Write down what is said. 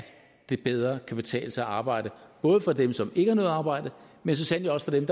det bedre kan betale sig at arbejde både for dem som ikke har noget arbejde men så sandelig også for dem